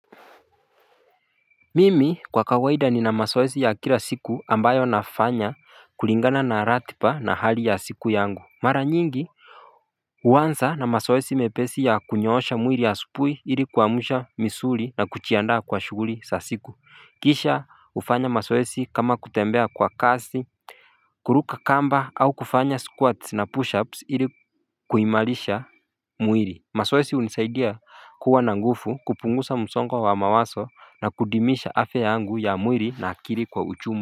Mimi kwa kawaida nina masoesi ya kila siku ambayo nafanya kulingana na ratipa na hali ya siku yangu mara nyingi huanza na masoesi mepesi ya kunyoosha mwiri asupuhi ili kuamsha misuri na kuchiandaa kwa shughuri sa siku kisha hufanya masoesi kama kutembea kwa kasi kuruka kamba au kufanya squats na pushups ili kuimarisha mwiri Masoesi hunisaidia kuwa na ngufu kupungusa msongo wa mawaso na kudimisha afya yangu ya mwiri na akiri kwa uchumu.